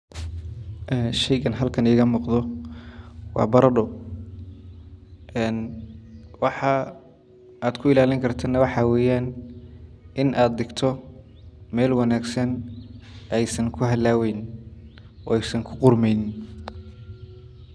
Sheygan halkan iiga muuqdo waa barado, waxa aad ku ilaalini kartid waxaa weeyan in aad digto meel wanagsan aay san ku halaabeynin oo aay san ku qurmeynin.